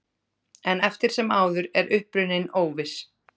En eftir sem áður er uppruninn óviss.